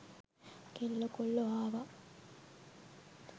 කෙල්ලො කොල්ලො ආවා.